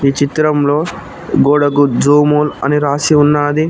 చిత్రంలో గోడగుద్దుమూల్ అని రాసి ఉన్నాది.